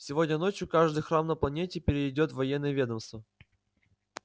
сегодня ночью каждый храм на планете перейдёт в военное ведомство